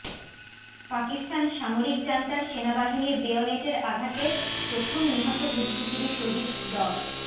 পাকিস্তান সামরিক জান্তার সেনাবাহিনীর বেয়নেটের আঘাতে প্রথম নিহত বুদ্ধিজীবী শহীদ ড